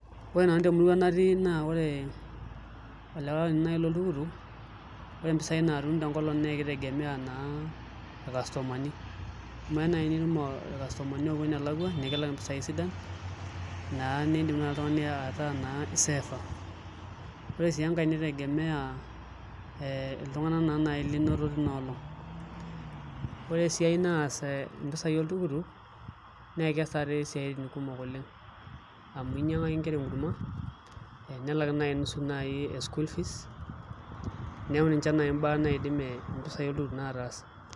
Ore nanu temurua natii naa ore olarewani nai loltukutuk ore mpisai naatum tenkolong naa keitegemea naa ilkastonami amu eya nai nitumi ilkastomani oopuo enelakwa nikilak impisai sidan naa niindim nai oltungani ataa naa isefa ore sii enkae naa nitegemea ee iltungana naa nai linoto tinoolong ore esiae naas ee impisai oltukutuk naa keas taatoi isiaitin kumok oleng amu inyiangaki inkera enkurma ee nelak nai nusu nai e school fees neeku ninche nai imbaa naidimi impisai oltukutuk ataas.